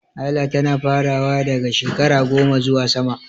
Haila tana farawa daga shekara 10 zuwa sama.